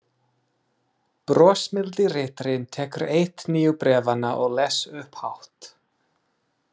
Brosmildi ritarinn tekur eitt nýju bréfanna og les upphátt: